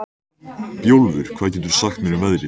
Bjólfur, hvað geturðu sagt mér um veðrið?